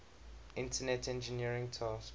internet engineering task